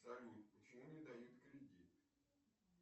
салют почему не дают кредит